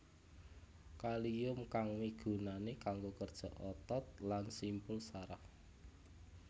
Kalium kang migunani kanggo kerja otot lan simpul saraf